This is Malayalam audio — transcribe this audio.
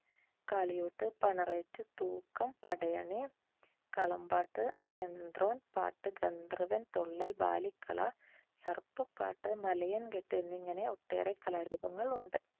കാളിയൂട്ട്, പണറേറ്റ്, തൂക്കം, പടയണി, കളംപാട്ട്, പാട്ടു ഗന്ധർവ്വൻ, തുള്ളൽ, ബാലിക, സർപ്പ പാട്ടു, മലയൻ കെട്ട് എന്നിങ്ങനെ ഒട്ടേറെ കലാരൂപങ്ങൾ ഉണ്ട്.